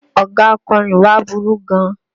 Ọ̀gá akọ́rin wa burú gan.